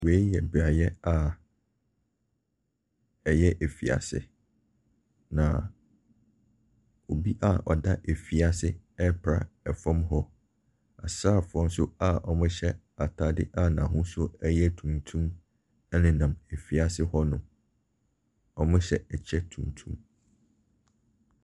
Wei yɛ beaeɛ a ɛyɛ afiase, na obi a ɔda afiase hɔ repra fam hɔ. Asraafoɔ nso a wɔhyɛ atadeɛ a n'ahosuo yɛ tuntum nenam afiase hɔ. Wɔhyɛ kyɛ tuntum.